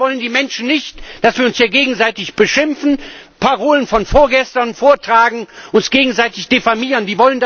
Das wollen die Menschen nicht, dass wir uns hier gegenseitig beschimpfen, Parolen von vorgestern vortragen, uns gegenseitig diffamieren.